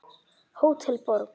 Hótel Borg.